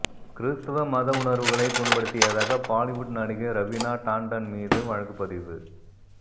கிறிஸ்தவ மத உணர்வுகளை புண்படுத்தியதாக பாலிவுட் நடிகை ரவீனா டாண்டன் மீது வழக்கு பதிவு